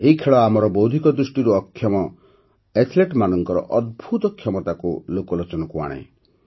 ଏହି ଖେଳ ଆମର ବୌଦ୍ଧିକ ଦୃଷ୍ଟିରୁ ଅକ୍ଷମ ଆଥଲେଟ୍ମାନଙ୍କର ଅଦ୍ଭୁତ କ୍ଷମତାକୁ ଲୋକଲୋଚନକୁ ଆଣେ